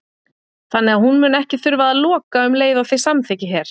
Þannig að hún mun ekki þurfa að loka um og leið og þið samþykkið hér?